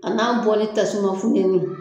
A n'a bɔli tasuman funtɛni.